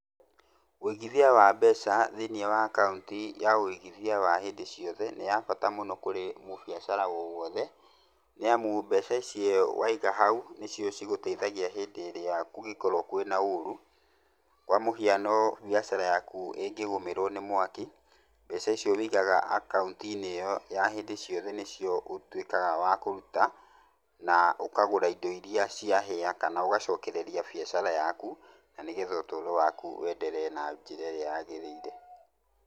Ũigithia wa mbeca thĩiniĩ wa akaũnti ya ũigithia wa hĩndĩ ciothe nĩ ya bata mũno kũrĩ mũbiacara o wothe. Nĩ amu mbeca icio waiga hau nĩ cio cigũteithagia hĩndĩ ĩrĩa kũngĩkorwo kwĩna ũru. Kwa mũhiano, mbiacara yaku ĩngĩgũmĩrwo nĩ mwaki, mbeca icio wũigaga akaũnti-inĩ ĩyo ya hĩndĩ ciothe nĩ cio ũtuĩkaga wa kũruta, na ũkagũra indo iria ciahĩa, kana ũgacokereria biacara yaku, na nĩgetha ũtũũro waku weenderee na njĩra ĩrĩa yagĩrĩire.